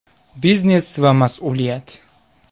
Biznes va mas’uliyat.